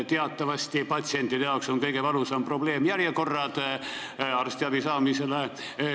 Teatavasti on patsientide kõige valusam probleem järjekorrad arstiabi saamisel.